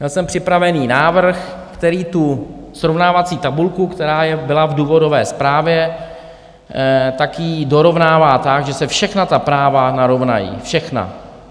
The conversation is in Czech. Měl jsem připraven návrh, který tu srovnávací tabulku, která byla v důvodové zprávě, tak ji dorovnává tak, že se všechna ta práva narovnají - všechna.